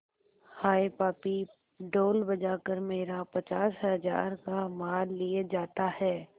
हाय पापी ढोल बजा कर मेरा पचास हजार का माल लिए जाता है